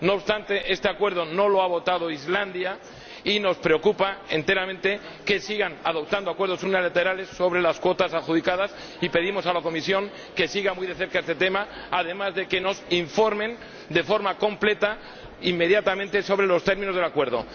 No obstante, a este acuerdo no se ha sumado Islandia, y nos preocupa notablemente que se sigan adoptando acuerdos unilaterales sobre las cuotas adjudicadas, por lo que pedimos a la Comisión que siga muy de cerca este tema, además de que nos informe de forma completa e inmediata sobre los términos del acuerdo.